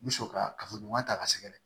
N bɛ sɔrɔ ka kafoɲɔgɔnya ta ka sɛgɛrɛ